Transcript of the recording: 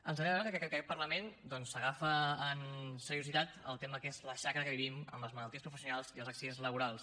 ens agrada veure que aquest parlament doncs s’agafa amb seriositat el tema que és la xacra que vivim amb les malalties professionals i els accidents laborals